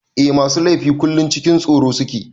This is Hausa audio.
Eh masu laifi kullum cikin tsoro suke.